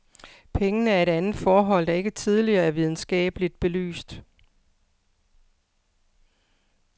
Pengene er et andet forhold, der ikke tidligere er videnskabeligt belyst.